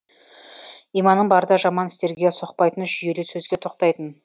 иманың барда жаман істерге соқпайтын жүйелі сөзге тоқтайтын